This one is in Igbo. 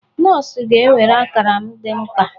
Nọọsụ ga-ewere akara m dị mkpa.